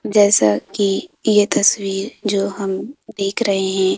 जैसा कि ये तस्वीर जो हम देख रहे हैं।